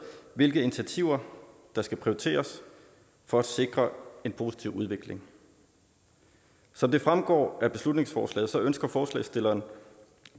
hvilke initiativer der skal prioriteres for at sikre en positiv udvikling som det fremgår af beslutningsforslaget ønsker forslagsstilleren